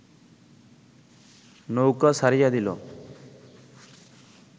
নৌকা ছাড়িয়া দিল